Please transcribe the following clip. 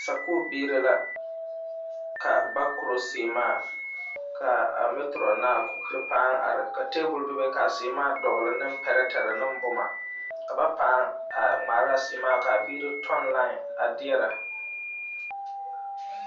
Sakuuri biiri la ka ba koro sèèmaa ka a maatorɔn paŋ are ka tabul bebe kaa sēēmaa dɔgli ne pirɛtire ne boma ka ba paa ŋmaara a séémaa ka a biiri tɔŋ laen a derɛ.